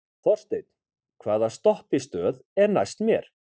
Þorsteinn, hvaða stoppistöð er næst mér?